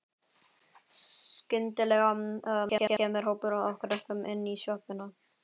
Skyndilega kemur hópur af krökkum inn í sjoppuna.